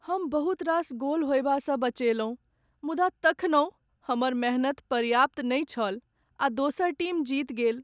हम बहुत रास गोल होयबासँ बचयलहुँ मुदा तखनहुँ हमर मेहनति पर्याप्त नहि छल आ दोसर टीम जीत गेल।